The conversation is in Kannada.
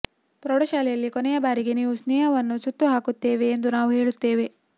ಪ್ರೌಢಶಾಲೆಯಲ್ಲಿ ಕೊನೆಯ ಬಾರಿಗೆ ನೀವು ಸ್ನೇಹವನ್ನು ಸುತ್ತುಹಾಕುತ್ತೇವೆ ಎಂದು ನಾವು ಹೇಳುತ್ತೇವೆ